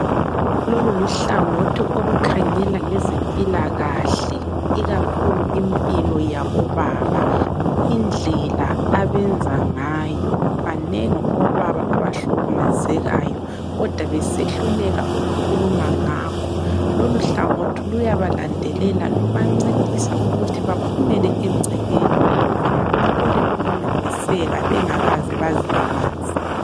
Lolu luhlangothi olukhangela ngezempilakahle ikakhulu impilo yabobaba, indlela abenza ngayo. Banengi obaba abahlukumezekayo kodwa besehluleka ukukhuluma ngakho. Lolu hlangothi luyabalandelela lubancedisa ukuthi baphumele egcekeni ukuze bathole ukuncediseka bengakaze bazilimaze.